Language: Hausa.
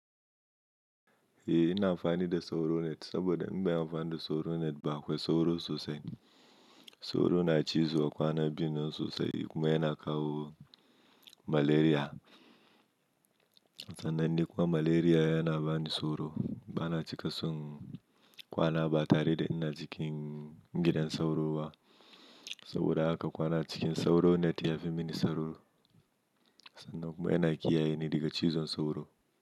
Eh ina amfani da sauro net saboda in ban amfani da sauro net bakwai sauro sosai. Sauro na cizo kwana biyun nan sosai kuma yana kawo malaria. Sannan ni kuma malaria yana bani tsoro. Bana cika son kwana ba tare da ina cikin gidan sauro ba saboda haka kwana cikin sauro net ya fi mini sauro. Sannan kuma yana kiyaye ni daga cizon sauro.